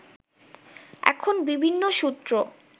এখন বিভিন্ন সূত্র